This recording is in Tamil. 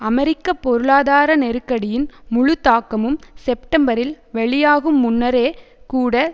அமெரிக்க பொருளாதார நெருக்கடியின் முழு தாக்கமும் செப்டம்பரில் வெளியாகும் முன்னரே கூட